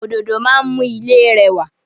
Òdòdó máa ń mú ilé rẹwà.